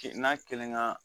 n'a kelenkan